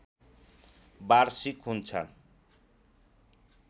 वार्षिक हुन्छन्